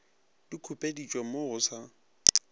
di khupeditšwe mo go sa